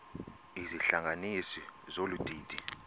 izihlanganisi zolu didi